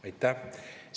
Aitäh!